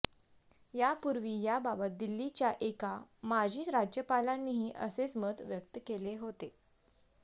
यापुर्वी याबाबत दिल्लीच्या एका माजी राज्यपालांनीही असेच मत व्यक्त केले होते